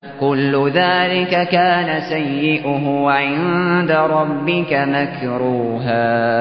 كُلُّ ذَٰلِكَ كَانَ سَيِّئُهُ عِندَ رَبِّكَ مَكْرُوهًا